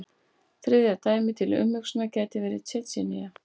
Þriðja dæmið til umhugsunar gæti verið Tsjetsjenía.